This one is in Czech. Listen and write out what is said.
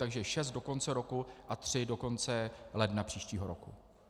Takže šest do konce roku a tři do konce ledna příštího roku.